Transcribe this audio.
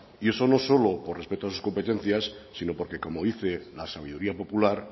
y eso no solo por respeto a sus competencias sino porque como dice la sabiduría popular